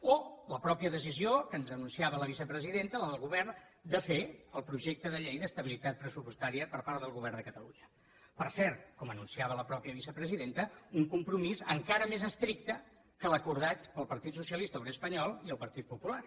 o la mateixa decisió que ens anunciava la vicepresidenta la del govern de fer el projecte de llei d’estabilitat pressupostària per part del govern de catalunya per cert com anunciava la mateixa vicepresidenta un compromís encara més estricte que l’acordat pel partit socialista obrer espanyol i el partit popular